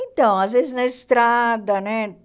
Então, às vezes na estrada, né?